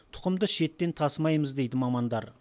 тұқымды шеттен тасымаймыз дейді мамандар